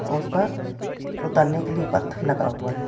उस पर उतरने के लिए पत्थर लगा हुआ है।